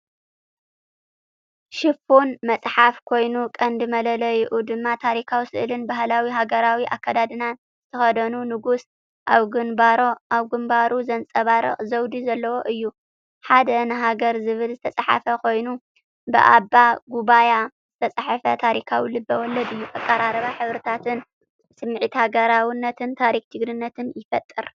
ሽፋን መጽሓፍ ኮይኑ፡ ቀንዲ መለለዪኡ ድማ ታሪኻዊ ስእልን ባህላዊ ሃገራዊ ኣከዳድና ዝተኸድነ ንጉስ፡ ኣብ ግንባሩ ዘንጸባርቕ ዘውዲ ዘለዎ እዩ።"ሓደ ንሃገር"ዝብል ዝተጻሕፈ ኮይኑ፡ ብኣበ ጉበያ ዝተጻሕፈ ታሪኻዊ ልብ-ወለድ እዩ። ኣቀራርባን ሕብርታትን ስምዒት ሃገራውነትን ታሪኽን ጅግንነትን ይፈጥር።